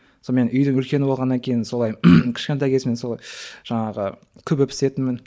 сонымен үйдің үлкені болғаннан кейін солай кішкентай кезімнен солай жаңағы күбі пісетінмін